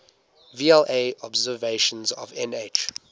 vla observations of nh